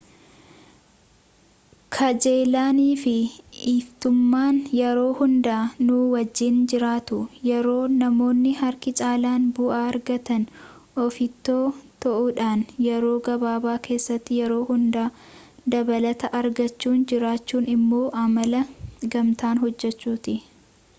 kajeellaaniifi ofittummaan yeroo hunda nuu wajjin jiraatu yeroo namoonni harki caalaan bu'aa argatan ofittoo ta'uudhaan yeroo gabaabaa keessatti yeroo hunda dabalata argachuun jiraachuun immoo amala gamtaan hojjechuuti